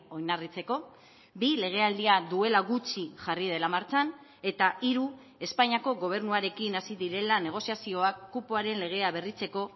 oinarritzeko bi legealdia duela gutxi jarri dela martxan eta hiru espainiako gobernuarekin hasi direla negoziazioak kupoaren legea berritzeko